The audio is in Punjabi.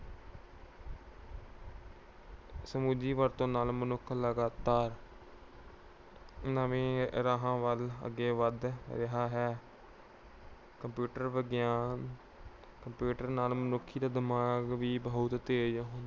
ਸੁਚੱਜੀ ਵਰਤੋਂ ਨਾਲ ਮਨੁੱਖ ਲਗਾਤਾਰ ਨਵੇਂ ਰਾਹਾਂ ਵੱਲ ਅੱਗੇ ਵੱਧ ਰਿਹਾ ਹੈ। computer ਵਿਗਿਆਨ computer ਨਾਲ ਮਨੁੱਖੀ ਦਿਮਾਗ ਵੀ ਬਹੁਤ ਤੇਜ